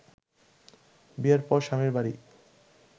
বিয়ের পর স্বামীর বাড়ি